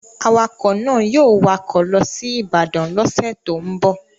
Awakọ̀ náà yóò wakọ̀ lọ sí Ibadan lọ́sẹ̀ tó ń bọ̀